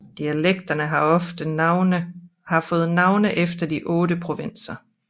Dialekterne har fået navne efter de otte provinser